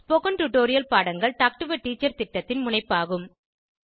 spoken tutorial பாடங்கள் talk to a teacher திட்டத்தின் முனைப்பாகும்